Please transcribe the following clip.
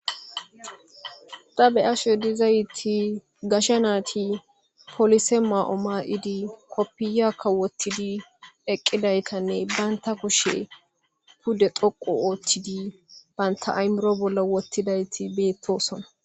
Ta be ashoy dizayti gasha naati polise maa7o maa7idi koppiyakka wottidi eqqidaytanne baynta kushe pude xoqu ooththidi baynta aymuro bolla wottidayti beettosona